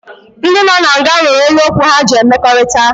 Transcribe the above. Ndị nọ na nga nwere olu okwu ha ji emekọrịta